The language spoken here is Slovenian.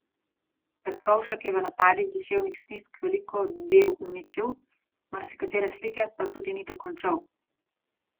Petkovšek je v napadih duševnih stisk veliko del uničil, marsikatere slike pa tudi ni dokončal.